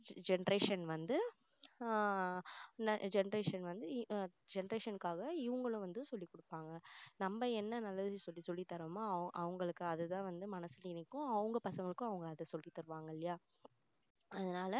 generation வந்து ஆஹ் generation வந்து generation காக இவங்களும் வந்து சொல்லி குடுப்பாங்க நம்ம என்ன நல்லது சொல்லி தரமோ அவங்களுக்கு அதுதான் வந்து மனசுல நிக்கும் அவங்க பசங்களுக்கும் அவங்க அதை சொல்லி தருவாங்க இல்லையா அதனால